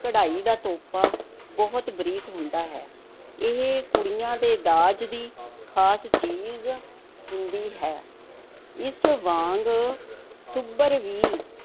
ਕਢਾਈ ਦਾ ਤੋਪਾ ਬਹੁਤ ਬਰੀਕ ਹੁੰਦਾ ਹੈ, ਇਹ ਕੁੜੀਆਂ ਦੇ ਦਾਜ ਦੀ ਖ਼ਾਸ ਚੀਜ਼ ਹੁੰਦੀ ਹੈ, ਇਸ ਵਾਂਗ ਸੁੱਭਰ ਵੀ